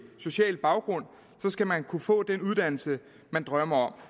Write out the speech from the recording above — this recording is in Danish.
social baggrund skal man kunne få den uddannelse man drømmer om